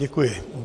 Děkuji.